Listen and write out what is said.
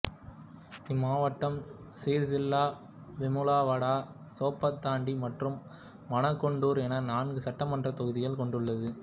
இம்மாவட்டம் சிர்சில்லா வெமுலவாடா சோப்பதண்டி மற்றும் மனகொண்டூர் என நான்கு சட்டமன்றத் தொகுதிகளைக் கொண்டுள்ளது